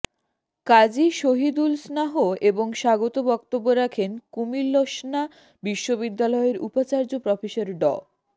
কাজী শহীদুলস্নাহ এবং স্বাগত বক্তব্য রাখেন কুমিলস্না বিশ্ববিদ্যালয়ের উপাচার্য প্রফেসর ড